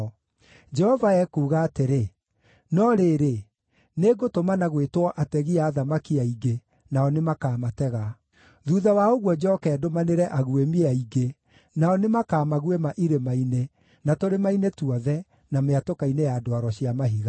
Jehova ekuuga atĩrĩ, “No rĩrĩ, nĩngũtũmana gwĩtwo ategi a thamaki aingĩ, nao nĩmakamatega. Thuutha wa ũguo njooke ndũmanĩre aguĩmi aingĩ, nao nĩmakamaguĩma irĩma-inĩ, na tũrĩma-inĩ tuothe, na mĩatũka-inĩ ya ndwaro cia mahiga.